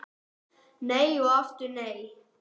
Nei og aftur nei.